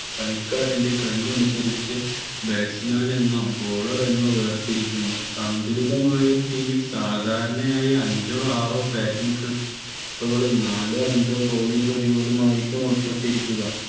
കളിക്കാരന്റെ കഴിവ് അനുസരിച്ച് Batchman എന്നോ Bowler എന്നോ വേർതിരിക്കുന്നു സന്തുലിതമായസാധാരണയായി അഞ്ചോ ആറോ Bating പ്രതിഭകളും നാലോ അഞ്ചോ Bowling പ്രതിഭകളും ആയിരിക്കും ഉൾപ്പെട്ടിരിക്കുക